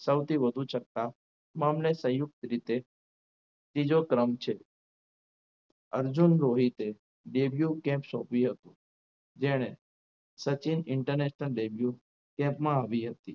સૌથી વધુ છક્કા મામલે સંયુક્ત રીતે બીજો ક્રમ છે અર્જુન રોહિત સોપી હતી જેણે સચિન International debut camp માં આવી હતી.